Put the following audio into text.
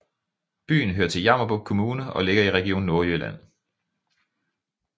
Byen hører til Jammerbugt Kommune og ligger i Region Nordjylland